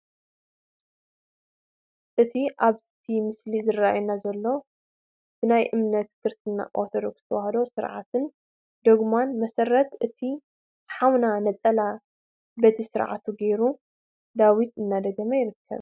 እቲ ኣብቲ ምስሊ ዝራኣየና ዘሎ ብናይ እምነት ክርስትና ኦርቶዶክስ ተዋህዶ ስርዓትን ዶጉማን መሰረት እቲ ሓውና ነፀላ በቲ ስርዓቱ ገይሩ ዳዊት እንዳደገመ ይርከብ፡፡